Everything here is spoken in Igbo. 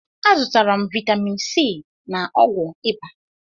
Azụtara m vitamin c na ọgwụ ịba